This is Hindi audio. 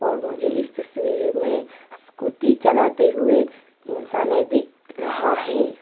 और मुझे इस तस्वीर में स्कूटी चलाते हुए इंसाने दिख रहा है।